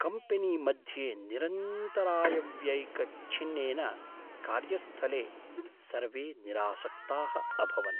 कम्पनीमध्ये निरन्तरायव्ययिकछिन्नेन कार्यस्थले सर्वे निरासक्ताः अभवन्।